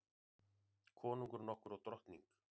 Konungur nokkur og drottning.